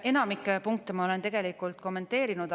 Enamikku punkte ma olen tegelikult kommenteerinud.